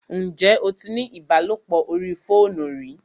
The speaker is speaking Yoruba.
Ǹjẹ́ o tí ní ìbálòpọ̀ orí fóònù rí?